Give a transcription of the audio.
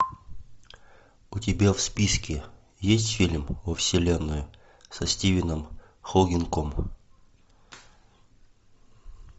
у тебя в списке есть фильм во вселенную со стивеном хокингом